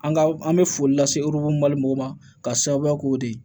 An ka an bɛ foli lase mali mɔgɔw ma k'a sababuya k'o de ye